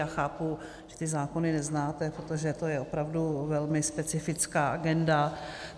Já chápu, že ty zákony neznáte, protože to je opravdu velmi specifická agenda.